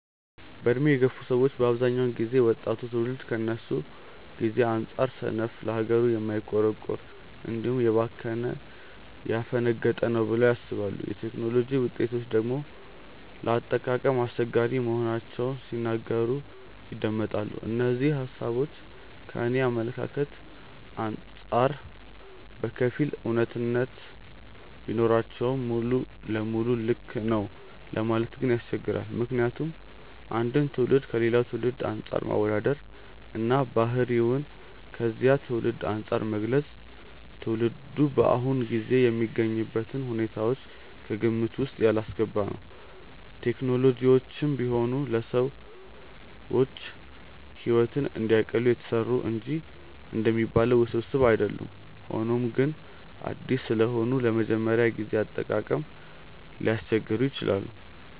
በዕድሜ የገፉ ሰዎች በአብዛኛው ጊዜ ወጣቱ ትውልድ ከነሱ ጊዜ አንጻር ሰነፍ፣ ለሀገሩ የማይቆረቆር፣ እንዲሁም ከባህሉ ያፈነገጠ ነው ብለው ያስባሉ። የቴክኖሎጂ ውጤቶችን ደግሞ ለአጠቃቀም አስቸጋሪ መሆናቸውን ሲናገሩ ይደመጣል። እነዚህ ሃሳቦች ከኔ አመለካከት አንጻር በከፊል አውነታነት ቢኖራቸውም ሙሉ ለሙሉ ልክ ነው ለማለት ግን ያስቸግራል። ምክንያቱም አንድን ትውልድ ከሌላ ትውልድ አንፃር ማወዳደር እና ባህሪውን ከዚያ ትውልድ አንፃር መግለጽ ትውልዱ በአሁኑ ጊዜ የሚገኝበትን ሁኔታዎች ከግምት ውስጥ ያላስገባ ነው። ቴክኖሎጂዎችም ቢሆኑ ለሰዎች ሕይወትን እንዲያቀሉ የተሰሩ እንጂ እንደሚባሉት ውስብስብ አይደሉም። ሆኖም ግን አዲስ ስለሆኑ ለመጀመሪያ ጊዜ አጠቃቀም ሊያስቸግሩ ይችላሉ።